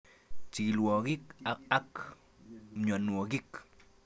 Chikil tyaangik ak myanwokik